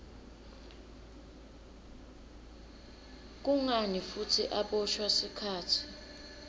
kungani futsi aboshwa sikhatsi